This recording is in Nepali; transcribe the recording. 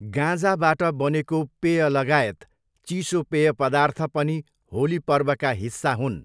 गाँजाबाट बनेको पेयलगायत चिसो पेय पदार्थ पनि होली पर्वका हिस्सा हुन्।